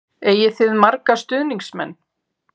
Eigið þið marga stuðningsmenn?